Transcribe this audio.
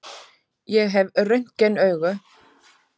Ég hef röntgenaugu.